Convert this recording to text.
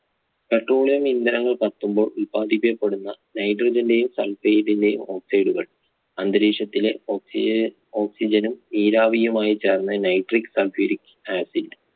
Petroleum ഇന്ധനങ്ങൾ കത്തുമ്പോൾ ഉൽപാദിപ്പിക്കപ്പെടുന്ന Nitrogen യും Sulphate ന്റെയും oxide കൾ അന്തരീക്ഷത്തിലെ oxy oxygen ഉം നീരാവിയുമായി ചേർന്നു Nitric sulphuric acid